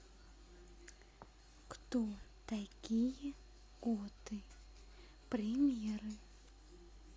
кто такие готы примеры